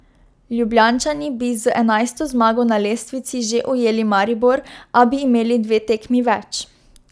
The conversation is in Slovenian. Ljubljančani bi z enajsto zmago na lestvici že ujeli Maribor, a bi imeli dve tekmi več.